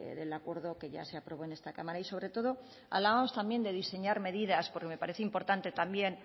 del acuerdo que ya se aprobó en esta cámara y sobre todo hablábamos también de diseñar medidas porque me parece importante también